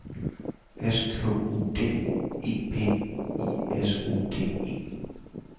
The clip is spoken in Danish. S K U D E P I S O D E